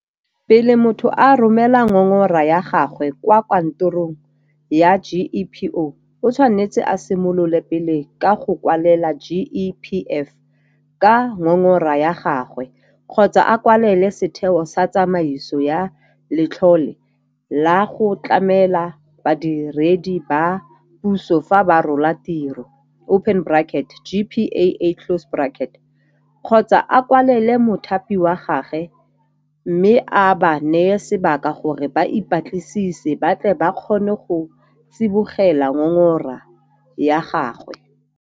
Pele motho a romela ngongora ya gagwe kwa kanto rong ya GEPO, o tshwanetse a simolole pele ka go kwalela GEPF ka ngongora yagagwe kgotsa a kwalele Setheo sa Tsamaiso ya Letlole la go Tlamela Badiredi ba Puso fa ba Rola Tiro, GPAA, kgotsa a kwalele mothapi wa gagwe mme a ba neye sebaka gore ba ipatlisise ba tle ba kgone go tsibogela ngongora ya gagwe.